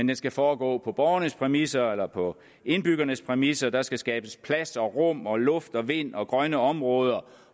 den skal foregå på borgernes præmisser eller på indbyggernes præmisser der skal skabes plads og rum og luft og vind og grønne områder